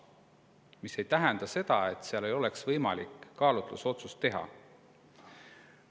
See ei tähenda aga seda, et ei oleks võimalik kaalutlusotsust teha.